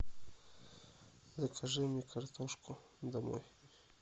закажи мне картошку домой